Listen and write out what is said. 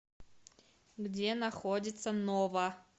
где находится нова